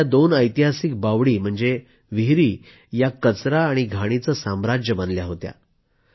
इथल्या दोन ऐतिहासिक बावडी म्हणजे विहिरी या कचरा घाण यांचं साम्राज्य बनल्या होत्या